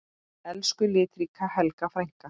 Elsku litríka Helga frænka.